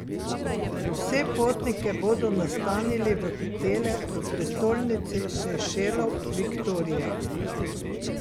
Vse potnike bodo nastanili v hotele v prestolnici Sejšelov Viktorija.